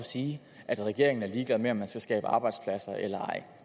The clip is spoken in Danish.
og sige at regeringen er ligeglad med om man skal skabe arbejdspladser eller ej